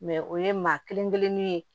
o ye maa kelen kelenninw ye